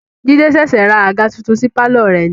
Jide ṣẹ̀ṣẹ̀ ra àga titun sí pàlọ́ rẹ̀ ni